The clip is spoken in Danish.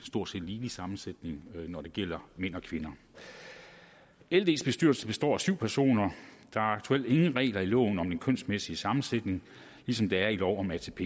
stort set ligelig sammensætning når det gælder mænd og kvinder lds bestyrelse består af syv personer der er aktuelt ingen regler i loven om den kønsmæssige sammensætning ligesom der er i lov om atp